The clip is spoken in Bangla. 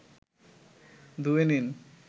ধুয়ে নিন